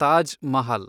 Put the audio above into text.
Taj Mahal